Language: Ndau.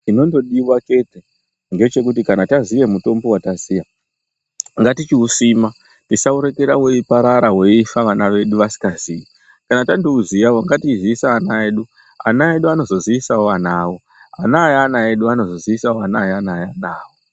Chinongodiwa chete ngechekuti kana tazive mutombo wataziva, ngatichiyusima, tisauregera weyiparara, weyifa vana vedu vasingazive. Kana tatouziva, ngatichizivisa ana edu. Ana edu anozozivisawo ana avo, ana eana edu anozozivisawo ana eana eana eduya.